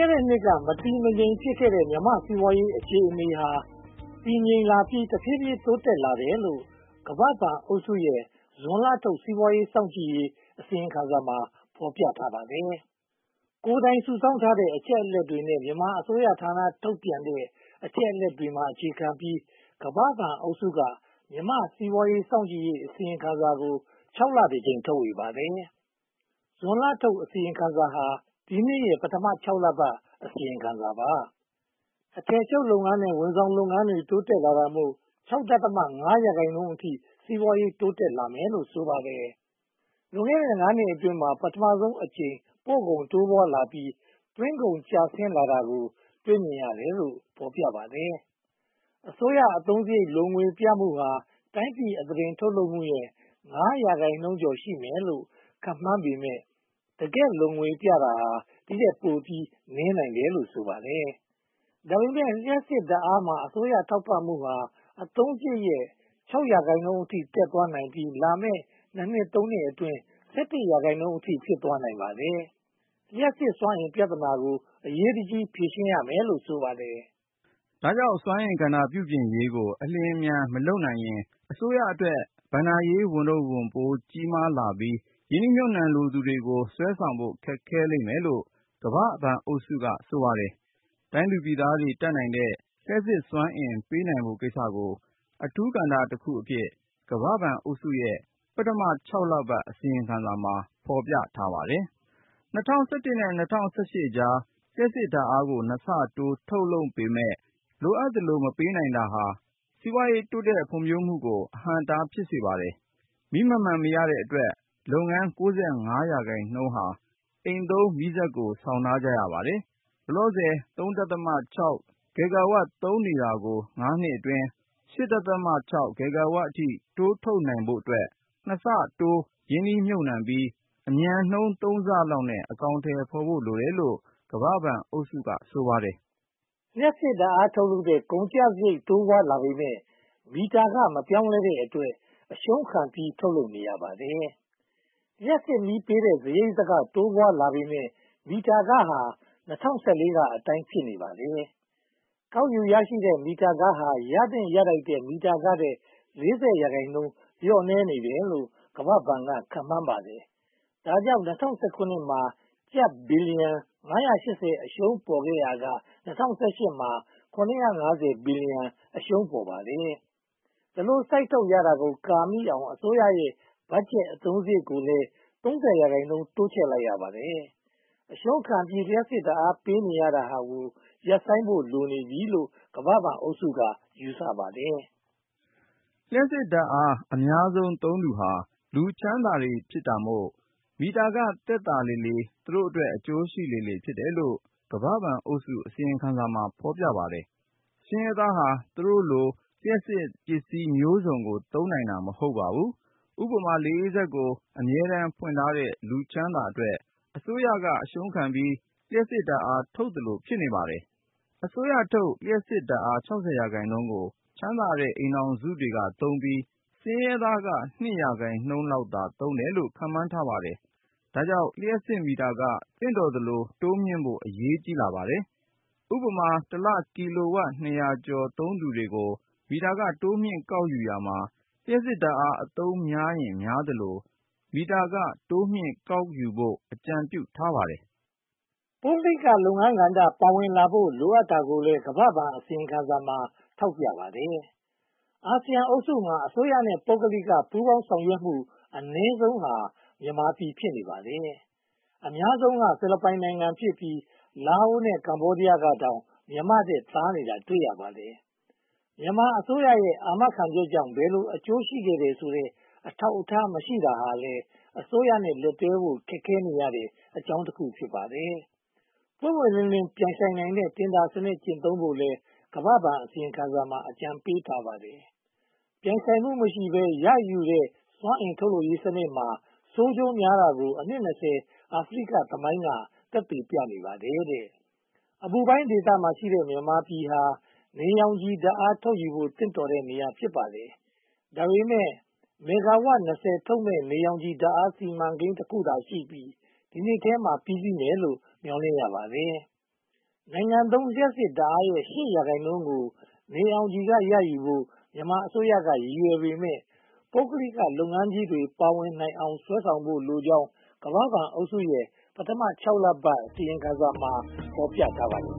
ဲ့တဲ့နှစ်က မတည်မငြိမ်ဖြစ်ခဲ့တဲ့ မြန်မာ့စီးပွားရေးအခြေအနေဟာ တည်ငြိမ်လာပြီး တဖြည်းဖြည်းတိုးတက်လာတယ်လို့ ကမ္ဘာ့ဘဏ်အုပ်စုရဲ့ ဇွန်လထုတ် စီးပွားရေးစောင့်ကြည့်ရေး အစီရင်ခံစာမှာ ဖော်ပြထားပါတယ်။ ကိုယ်တိုင်စုဆောင်းထားတဲ့ အချက်အလက်တွေနဲ့ မြန်မာအစိုးရဌာနတွေ ထုတ်ပြန်ထားတဲ့ အချက်အလက်တွေပေါ် အခြေခံပြီး ကမ္ဘာ့ဘဏ်အုပ်စုဟာ မြန်မာ့စီးပွားရေးစောင့်ကြည့်ရေး အစီရင်ခံစာကို (၆) လတကြိမ် ထုတ်ဝေပါတယ်။ ဇွန်လထုတ် အစီရင်ခံစာဟာ ဒီနှစ်ရဲ့ ပထမ (၆) လပတ် အစီရင်ခံစာ ဖြစ်ပါတယ်။ အထည်ချုပ်လုပ်ငန်းနဲ့ ဝန်ဆောင်မှုလုပ်ငန်းတွေ တိုးတက်လာတာမို့ (၆.၅) ရာခိုင်နှုန်းအထိ စီးပွားရေးတိုးတက်လာမယ်လို့ ဆိုပါတယ်။ လွန်ခဲ့တဲ့ (၅) နှစ်အတွင်းမှာ ပထမဦးဆုံးအကြိမ် ပို့ကုန်တိုးပွားလာပြီး သွင်းကုန်ကျဆင်းလာတာကို တွေ့မြင်ရတယ်လို့ ဖော်ပြပါတယ်။ အစိုးရအသုံးစရိတ် လိုငွေပြမှုဟာ တိုင်းပြည်အသားတင်ထုတ်လုပ်မှုရဲ့ (၅) ရာခိုင်နှုန်းကျော် ရှိမယ်လို့ ခန့်မှန်းပေမယ့် တကယ့်လိုငွေဟာ ဒီထက်ပိုပြီးနည်းနိုင်တယ်လို့ ဆိုပါတယ်။ ဒါပေမဲ့ လျှပ်စစ်ဓါတ်အားမှာ အစိုးရထောက်ပံ့ပေးမှုဟာ အသုံးစရိတ်ရဲ့ (၆) ရာခိုင်နှုန်းအထိ တက်သွားပြီး လာမယ့် (၂) နှစ် (၃) နှစ်အတွင်း (၁၁) ရာခိုင်နှုန်းအထိ ဖြစ်သွားနိုင်ပါတယ်။ လျှပ်စစ်စွမ်းအင်ပြဿနာကို အရေးတကြီး ဖြေရှင်းရမယ်လို့ ဆိုပါတယ်။ ဒါကြောင့် လျှပ်စစ်စွမ်းအင်ကဏ္ဍပြုပြင်ရေးကို အလျှင်အမြန် မလုပ်နိုင်ရင် အစိုးရအတွက် ဘဏ္ဍာရေးဝန်ထုပ်ဝန်ပိုး ကြီးမားလာပြီး ရင်းနှီးမြုပ်နံှလိုသူတွေကို ဆွဲဆောင်မှု ခက်ခဲလိမ့်မယ်လို့ ကမ္ဘာ့ဘဏ်အုပ်စုက ဆိုပါတယ်။ တိုင်းသူပြည်သားတွေ တတ်နိုင်တဲ့ လျှပ်စစ်စွမ်းအင် ပေးနိုင်ဖို့ကိစ္စကို အထူးကဏ္ဍတခုအဖြစ် ကမ္ဘာ့ဘဏ်အုပ်စုရဲ့ ပထမ (၆) လပတ် အစီရင်ခံစာမှာ ဖော်ပြထားပါတယ်။ ၂၀၁၁ နဲ့ ၂၀၁၈ ကြား လျှပ်စစ်ဓါတ်အားကို နှစ်ဆတိုး ထုတ်လုပ်ပေမယ့် လိုအပ်သလို မပေးနိုင်တာဟာ စီးပွားရေးတိုးတက်ဖွံ့ဖြိုးမှုကို အဟန့်အတား ဖြစ်စေပါတယ်။ မီးမှန်မှန်မရတဲ့အတွက် လုပ်ငန်း (၉၅) ရာခိုင်နှုန်းဟာ အိမ်သုံးမီးစက်ကို ဆောင်ထားရပါတယ်။ လောလောဆယ် (၃.၆) ဂီဂါဝပ် သုံးနေတာကို ငါးနှစ်အတွင်း (၈.၆) ဂီဂါဝပ်အထိ တိုးထုတ်နိုင်ဖို့အတွက် နှစ်ဆတိုးရင်းနှီးမြုပ်နံှပြီး အမြန်နှုန်းသုံးဆလောက်နဲ့ အကောင်အထည်ဖော်ဖို့ လိုတယ်လို့ ကမ္ဘာ့ဘဏ်အုပ်စုက ဆိုပါတယ်။ လျှပ်စစ်ဓါတ်အားထုတ်လုပ်တဲ့ ကုန်ကျစရိတ်တိုးပွားလာပေမယ့် မီတာခ မပြောင်းလဲတဲ့အတွက် အရှုံးခံပြီးတော့ ထုတ်လုပ်နေရပါတယ်။ လျှပ်စစ်မီး ပေးရတဲ့စရိတ်က တိုးပွားလာပေမယ့် မီတာခဟာ၂၀၁၄ ကအတိုင်းပဲ ဖြစ်နေပါတယ်။ ကောက်ယူရရှိတဲ့ မီတာခဟာ ရသင့်ရထိုက်တဲ့ မီတာခထက် (၄၀) ရာခိုင်နှုန်း လျော့နည်းနေတယ်လို့ ကမ္ဘာ့ဘဏ်က ခန့်မှန်းပါတယ်။ ဒါကြောင့် ၂၀၁၇ မှာ ကျပ် (၅၈၀) ဘီလျံအရှုံးပေါ်ခဲ့ရာက ၂၀၁၈ မှာ ကျပ် (၇၅၀) ဘီလျံ အရှုံးပေါ်ပါတယ်။ ဒီလိုစိုက်ထုတ်ရတာကို ကာမီအောင် အစိုးရရဲ့ ဘတ်ဂျက်အသုံးစရိတ်ကိုလည်း (၃၀) ရာခိုင်နှုန်း တိုးချဲ့လိုက်ပါတယ်။ အရှုံးခံပြီး လျှပ်စစ်ဓါတ်အားပေးနေတာကို ရပ်ဆိုင်းဖို့ လိုအပ်နေပြီလို့ ကမ္ဘာ့ဘဏ်အုပ်စုက ယူဆပါတယ်။ လျှပ်စစ်ဓါတ်အား အများဆုံးသုံးသူတွေဟာ လူချမ်းသာတွေဖြစ်လို့ မီတာခသက်သာလေလေ သူတို့အတွက် အကျိုးရှိလေလေ ဖြစ်တယ်လို့ ကမ္ဘာ့ဘဏ်အုပ်စု အစီရင်ခံစာမှာ ဖော်ပြထားပါတယ်။ ဆင်းရဲသားဟာ သူတို့ိလို လျှပ်စစ်ပစ္စည်းမျိုးစုံကို သုံးနိုင်တာ မဟုတ်ပါဘူး။ ဥပမာ လေးအေးစက်ကို အမြဲတမ်းဖွင့်ထားတဲ့ လူချမ်းသာအတွက် အစိုးရကအရှုံးခံပြီး လျှပ်စစ်ဓါတ်အားထုတ်သလို ဖြစ်နေပါတယ်။ အစိုးရထုတ် လျှပ်စစ်ဓါတ်အား (၆၀) ရာခိုင်နှုန်းကို ချမ်းသာတဲ့ အိမ်ထောင်စုတွေကသုံးပြီး ဆင်းရဲသားက (၂) ရာခိုင်နှုန်းလောက်သာ သုံးတယ်လို့ ခန့်မှန်းထားပါတယ်။ ဒါကြောင့် လျှပ်စစ်မီတာခ သင့်တော်သလို တိုးမြှင့်ဖို့ အရေးကြီးလာပါတယ်။ ဥပမာ တစ်လ ကီလိုဝပ် (၂၀၀) ကျော် သုံးသူတွေကို မီတာခ တိုးမြှင့်ကောက်ယူရာမှာ လျှပ်စစ်ဓါတ်အား အသုံးများရင်များသလို မီတာခ တိုးမြှင့်ကောက်ယူဖို့ အကြံပြုထားပါတယ်။ ပုဂ္ဂလိကလုပ်ငန်းကဏ္ဍ ပါဝင်လာဖို့ လိုအပ်တာကိုလည်း ကမ္ဘာ့ဘဏ်အစီရင်ခံစာမှာ ထောက်ပြထားပါတယ်။ အာဆီယံအုပ်စုမှာ အစိုးရနဲ့ ပုဂ္ဂလိက ပူးပေါင်းဆောင်ရွက်မှု အနည်းဆုံးဟာ မြန်မာပြည်ဖြစ်ပါတယ်။ အများဆုံးက ဖိလစ်ပိုင်နိုင်ငံ ဖြစ်ပြီး၊ လာအိုနဲ့ ကမ္ဘောဒီးယားတောင် မြန်မာနဲ့ သာနေတာကို တွေ့ရပါတယ်။ မြန်မာအစိုးရရဲ့ အာမခံချက်ကြောင့် ဘယ်လိုအကျိုးရှိခဲ့တယ်ဆိုတဲ့ အထောက်အထားမရှိတာလည်း အစိုးရနဲ့ လက်တွဲဖို့ ခက်ခဲရတဲ့အကြောင်းတခု ဖြစ်ပါတယ်။ ပွင့်ပွင့်လင်းလင်း ပြိုင်ဆိုင်နိုင်တဲ့ တင်ဒါစနစ် ကျင့်သုံးဖို့လည်း ကမ္ဘာ့ဘဏ်အစီရင်ခံစာမှာ အကြံပေးထားပါတယ်။ ပြိုင်ဆိုင်မှုမရှိဘဲ ရယူတဲ့ စွမ်းအင်ထုတ်လုပ်ရေးစနစ်မှာ ဆိုးကျိုးများတာကို အနှစ် (၂၀) အာဖရိကသမိုင်းက သက်သေပြနေပါတယ်။ အပူပိုင်းဒေသမှာရှိတဲ့ မြန်မာပြည်ဟာ နေရောင်ခြည်ဓါတ်အားထုတ်ယူဖို့ သင့်တော်တဲ့နေရာ ဖြစ်ပါတယ်။ ဒါပေမဲ့ မဲဂါဝပ် (၂၀) ထုတ်လုပ်မယ့် နေရောင်ခြည် ဓါတ်အားစီမံကိန်းတခုတည်းသာရှိပြီး ဒီနှစ်ထဲမှာ ပြီးစီးမယ်လို့ မျှော်လင့်ရပါတယ်။ နိုင်ငံသုံးလျှပ်စစ်ဓါတ်အားရဲ့ (၈) ရာခိုင်နှုန်းကို နေရောင်ခြည်ကရယူဖို့ မြန်မာအစိုးရက ရည်ရွယ်ပေမယ့် ပုဂ္ဂလိကလုပ်ငန်းကြီးတွေ ပါဝင်အောင် ဆွဲဆောင်ဖို့လိုကြောင်း ကမ္ဘာ့ဘဏ်အုပ်စုရဲ့ ပထမ (၆) လပတ် အစီရင်ခံစာမှာ ဖော်ပြထားပါတယ်